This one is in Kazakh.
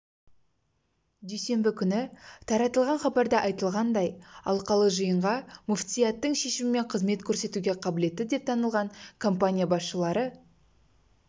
дүйсенбі күні таратылған хабарда айтылғандай алқалы жиынға мүфтияттың шешімімен қызмет көрсетуге қабілетті деп танылған компания басшылары